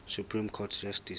supreme court justice